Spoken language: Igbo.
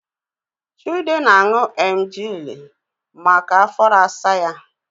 Chude na-aṅù emgili maka afọ na-asa ya